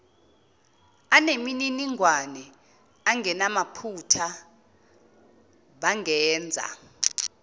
anemininingwane engamaphutha bangenza